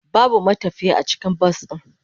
Babu matafiye a cikin bas din.